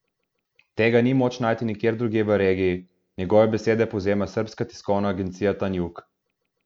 Tega ni moč najti nikjer drugje v regiji, njegove besede povzema srbska tiskovna agencija Tanjug.